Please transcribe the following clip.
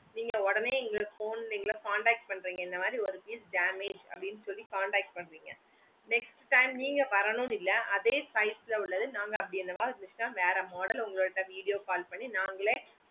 நீங்க ஒடனே எங்களுக்கு phone ல contact பண்றீங்க இந்த மாதிரி ஒரு piece damage அப்புடின்னு சொல்லி contact பண்றீங்க next time நீங்க வரணும்னு இல்ல அதே size ல உள்ளது நாங்க அப்டி எதாச்சி இருந்துச்சின்னா வேற model உங்ககிட்ட video call பண்ணியே நாங்களே